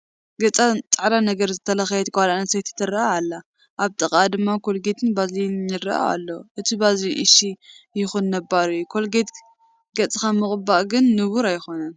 ገፃ ፃዕዳ ነገር ዝለኸየት ጓል ኣነስተይቲ ትርአ ኣላ፡፡ ኣብ ጥቓኣ ድማ ኮልጌትን ባዝሊንን ይርአ ኣሎ፡፡ እቲ ባዝሊንስ እሺ ይኹን ንቡር እዩ፡፡ ኮልጌት ገፅካ ምቕባእ ግን ንቡር ኣይኮነን፡፡